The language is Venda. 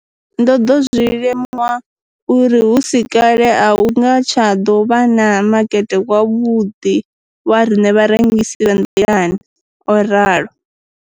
Ndo ḓo zwi limuwa uri hu si kale a hu nga tsha ḓo vha na makete wavhuḓi wa riṋe vharengisi vha nḓilani, o ralo.